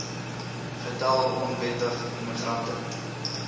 getal onwettige immigrante